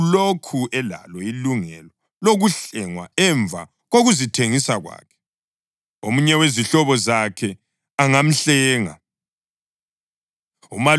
ulokhu elalo ilungelo lokuhlengwa emva kokuzithengisa kwakhe. Omunye wezihlobo zakhe angamhlenga.